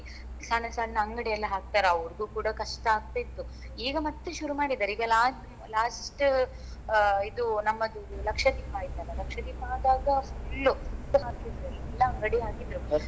ಸಣ್ಣ ಸಣ್ಣ ಅಂಗಡಿ ಎಲ್ಲ ಹಾಕ್ತಾರೆ ಅವ್ರಿಗೂ ಕೂಡ ಕಷ್ಟ ಆಗ್ತಿತ್ತು ಈಗ ಮತ್ತೆ ಶುರು ಮಾಡಿದ್ದಾರೆ ಈಗ la~ last ಇದು ನಮ್ಮದು ಲಕ್ಷದೀಪ ಆಯ್ತಲ್ವಾ ಲಕ್ಷದೀಪ ಆದಾಗ full full ಅಂಗಡಿ ಹಾಕಿದ್ರು.